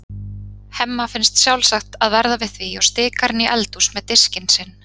Hemma finnst sjálfsagt að verða við því og stikar inn í eldhús með diskinn sinn.